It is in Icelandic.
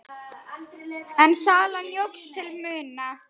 En salan jókst til muna.